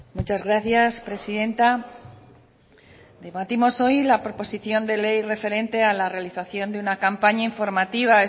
muchas gracias presidenta debatimos hoy la proposición de ley referente a la realización de una campaña informativa